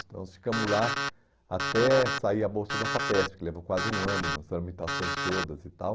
Então nós ficamos lá até sair a bolsa da FAPESP, que levou quase um ano nas tramitações todas e tal.